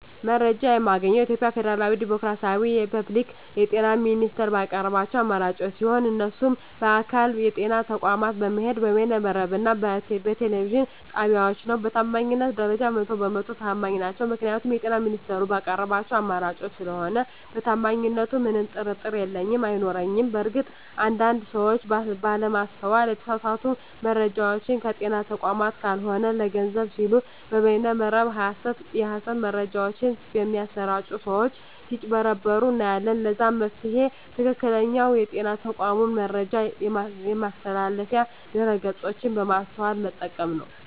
መረጃ የማገኘዉ የኢትዮጵያ ፌደራላዊ ዲሞክራሲያዊ የፐብሊክ የጤና ሚኒስቴር ባቀረባቸዉ አማራጮች ሲሆን እነሱም በአካል (ጤና ተቋማት በመሄድ)፣ በበይነ መረብ እና በቴሌቪዥን ጣቢያወች ነዉ። በታማኝነት ደረጃ 100 በ 100 ተማኝ ናቸዉ ምክንያቱም የጤና ሚኒስቴሩ ባቀረባቸዉ አማራጮች ስለሆነ በታማኝነቱ ምንም ጥርጥር የለኝም አይኖረኝም። በእርግጥ አንድ አንድ ሰወች ባለማስተዋል የተሳሳቱ መረጃወችን ከጤና ተቋማት ካልሆኑ ለገንዘብ ሲሉ በበይነ መረብ የሀሰት መረጃወች በሚያሰራጪ ሰወች ስጭበረበሩ እናያለን ለዛም መፍትሄዉ ትክክለኛዉ የጤና ተቋሙን የመረጃ ማስተላለፊያ ድረገፆች በማስተዋል መጠቀም ነዉ።